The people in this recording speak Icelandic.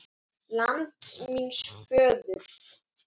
LAND MÍNS FÖÐUR